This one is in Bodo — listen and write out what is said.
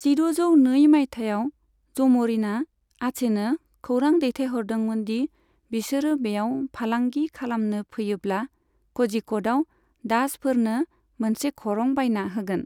जिद'जौ नै मायथाइयाव, जम'रिनआ आचेनो खौरां दैथायहरदोंमोन दि बिसोरो बेयाव फालांगि खालामनो फैयोब्ला, कझिक'डआव डाचफोरनो मोनसे खरं बानायना होगोन।